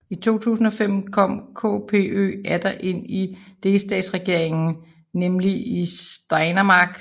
I 2005 kom KPÖ atter ind i en delstatsregering nemlig i Steiermark